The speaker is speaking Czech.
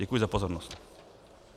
Děkuji za pozornost.